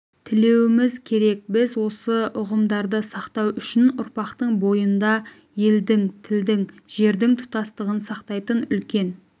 тілеуіміз керек біз осы ұғымдарды сақтау үшін ұрпақтың бойында елдің тілдің жердің тұтастығын сақтайтын үлкен